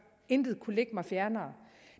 intet kunne ligge mig fjernere